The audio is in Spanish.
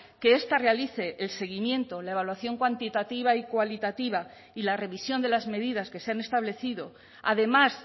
que esta realice el seguimiento la evaluación cuantitativa y cualitativa y la revisión de las medidas que se han establecido además